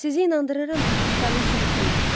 Sizi inandırıram ki, bu tutarlı sübut deyil.